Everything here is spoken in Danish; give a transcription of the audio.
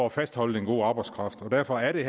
at fastholde den gode arbejdskraft derfor er det